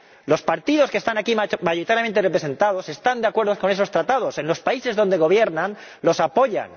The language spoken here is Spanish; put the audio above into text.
Los partidos que están aquí mayoritariamente representados están de acuerdo con esos Tratados en los países donde gobiernan, los apoyan.